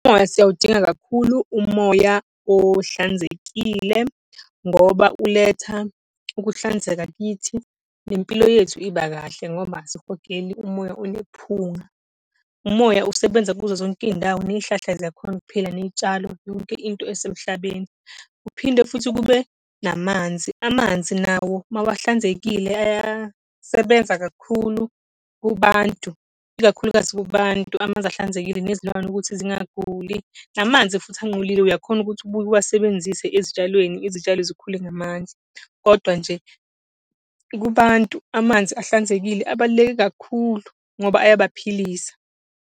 Umoya siyawudinga kakhulu umoya ohlanzekile ngoba uletha ukuhlanzeka kithi, nempilo yethu iba kahle ngoba asihogeli umoya onephunga. Umoya usebenza kuzo zonke iy'ndawo, ney'hlahla ziyakhona ukuphila, ney'tshalo, yonke into esemhlabeni. Kuphinde futhi kube namanzi, amanzi nawo mawahlanzekile ayasebenza kakhulu kubantu, ikakhulukazi kubantu, amanzi ahlanzekile, nezilwane ukuthi zingaguli. Namanzi futhi anqolile uyakhona ukuthi ubuye uwasebenzise ezitshalweni, izitshalo zikhule ngamandla. Kodwa nje, kubantu amanzi ahlanzekile ebaluleke kakhulu ngoba ayabaphilisa.